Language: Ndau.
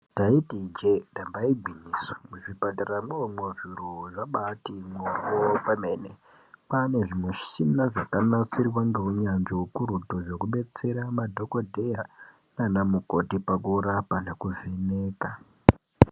Ndaiti ijee damba igwinyiso muzvipatara mwomwo zviro zvambaati moryo kwemene kwaane zvimushina zvakanasirwa ngeunyanzvi ukukutu zvekudetsera madhokodheya nana mukoti pakurapa nekuvheneka.